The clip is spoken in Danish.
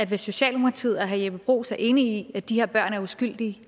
hvis socialdemokratiet og herre jeppe bruus er enig i at de her børn er uskyldige